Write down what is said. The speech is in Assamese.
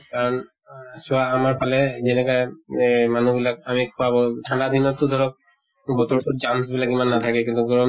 আন চোৱা আমাৰ ফালে যেনেকা এহ মানুহ বিলাক আমি ঠান্ডা দিনত টো ধৰক বতৰ টোত germs বিলাক ইমান নাথাকে, কিন্তু গৰম